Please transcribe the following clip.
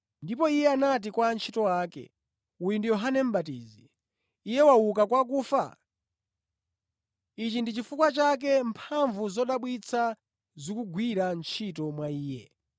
Ndipo iye anati kwa antchito ake, “Uyu ndi Yohane Mʼbatizi; iye wauka kwa akufa! Ichi ndi chifukwa chake mphamvu zodabwitsa zikugwira ntchito mwa iye.”